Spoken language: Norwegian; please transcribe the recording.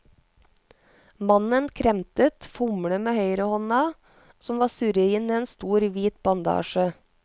Mannen kremtet, fomlet med høyrehånda som var surret inn i en stor, hvit bandasje.